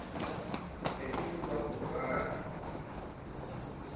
ne e le ba moradi